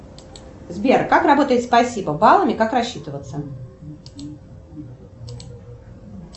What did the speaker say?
сбер как работает спасибо баллами как рассчитываться